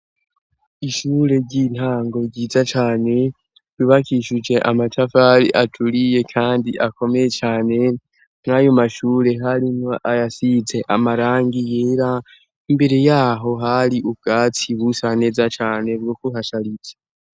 Ishure ry'intango ryiza cane rubakishuje amacavari aturiye, kandi akomeye cane mwayumashure harimwo ayasize amarangi yera imbere yaho hari ubwatsi busa neza cane bwokuhasharije.